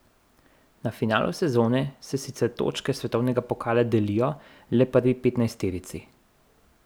Na finalu sezone se sicer točke svetovnega pokala delijo le prvi petnajsterici.